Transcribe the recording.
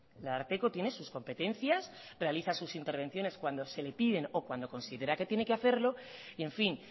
el ararteko tiene sus competencias realiza sus intervenciones cuando se le piden o cuando considera que tiene que hacerlo y en fin